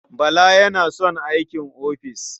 Bala yana son aikin ofis.